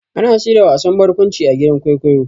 Ana shirya wasan barƙwanci a gidan kwaikwayo.